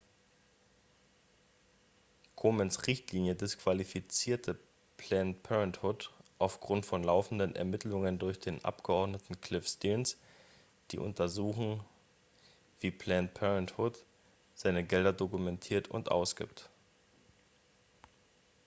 komens richtlinie disqualifizierte planned parenthood aufgrund von laufenden ermittlungen durch den abgeordneten cliff stearns die untersuchen wie planned parenthood seine gelder dokumentiert und ausgibt